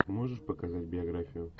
можешь показать биографию